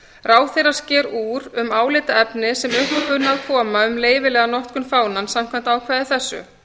ráðherra sker úr um álitaefni sem upp kunna að koma um leyfilega notkun fánans samkvæmt ákvæði þessu